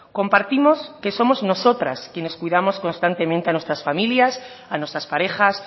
compartimos que somos nosotras quienes cuidamos constantemente a nuestras familias a nuestras parejas